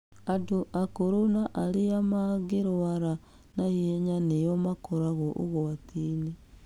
Andũ akũrũ na arĩa magĩrwara na ihenya nĩo makoragwo ũgwatinĩ.